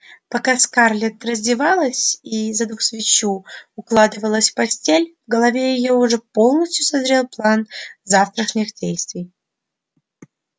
пока скарлетт раздевалась и задув свечу укладывалась в постель в голове её уже полностью созрел план завтрашних действий